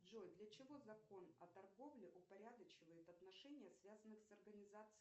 джой для чего закон о торговле упорядочивает отношения связанных с организацией